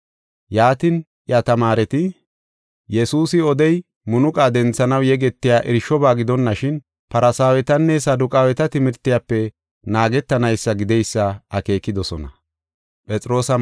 Yaatin, iya tamaareti Yesuusi odey munuqa denthanaw yegetiya irshoba gidonashin Farsaawetanne Saduqaaweta timirtiyafe naagetanaysa gideysa akeekidosona.